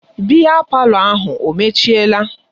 Biya palọ ahụ o mechiela?